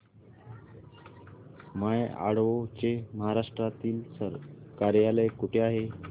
माय Advo चे महाराष्ट्रातील कार्यालय कुठे आहे